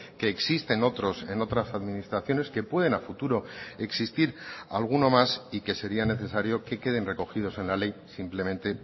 que existen otros en otras administraciones que pueden a futuro existir alguno más y que sería necesario que queden recogidos en la ley simplemente